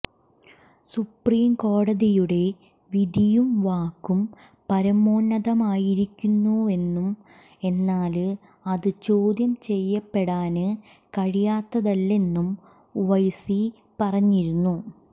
സുപ്രീംകോടതിയുടെ വിധിയും വാക്കും പരമോന്നതമായിരിക്കുമെന്നും എന്നാല് അത് ചോദ്യം ചെയ്യപ്പെടാന് കഴിയാത്തതല്ലെന്നും ഉവൈസി പറഞ്ഞിരുന്നു